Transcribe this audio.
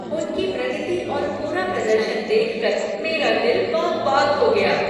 उनकी प्रगति और पूरा प्रदर्शन देखकर मेरा दिल बाग बाग हो गया।